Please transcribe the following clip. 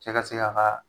Cɛ ka se k'a ka